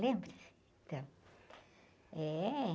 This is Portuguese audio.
Lembra? Então, é...